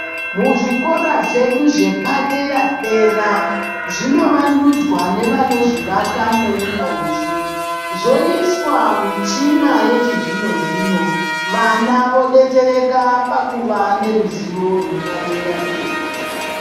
Muzvikora zvedu zvepadera dera zvinovandudzwa nevanozvivaka ngeunyanzvi zvoiswa michina yechizvino zvino vana vodetsereka pakuva neruzivo rwepadera dera.